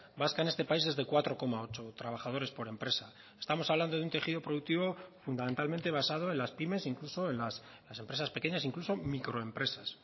vasca en este país es de cuatro coma ocho trabajadores por empresa estamos hablando de un tejido productivo fundamentalmente vasado en las pymes incluso en las empresas pequeñas incluso microempresas